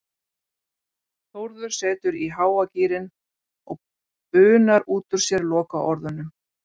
Þórður setur í háa gírinn og bunar út úr sér lokaorðunum